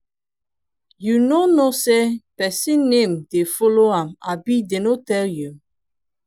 you no know say person name dey follow am abi dey no tell you.